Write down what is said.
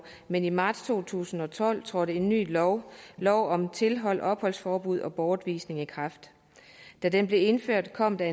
men i marts to tusind og tolv trådte en ny lov lov om tilhold opholdsforbud og bortvisning i kraft da den blev indført kom der